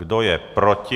Kdo je proti?